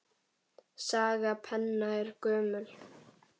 Saga penna er gömul.